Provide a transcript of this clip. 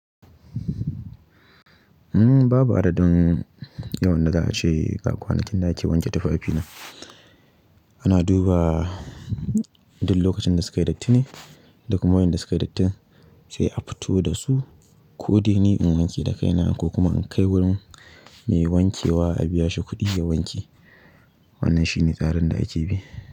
Uhm, babu adadin yawan da za'ace ga kwanakin da ake wanke tufafina. Ana duba duk lokacin da sukayi datti ne, da kuma wa'inda sukayi dattin sai a fito dasu. Ko dai ni in wanke dakaina ko kuma in kai wurin mai wankewa a biya shi kuɗi ya wanke. Wannan shine tsarin da ake bi.